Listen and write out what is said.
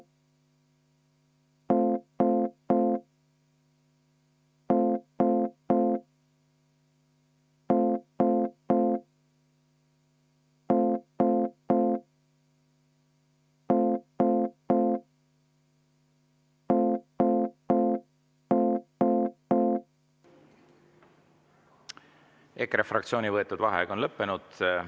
EKRE fraktsiooni võetud vaheaeg on lõppenud.